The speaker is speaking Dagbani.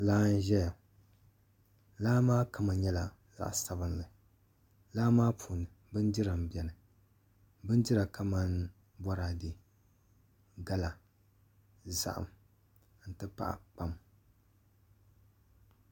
Laa n ʒɛya laa maa kama nyɛla zaɣ sabinli laa maa puuni bindira n bɛni bindira kamani boraadɛ gala zaham n ti pahi kpam